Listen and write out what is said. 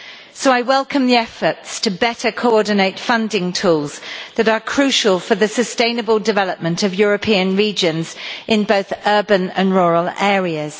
So I welcome the efforts to better coordinate funding tools that are crucial for the sustainable development of European regions in both urban and rural areas.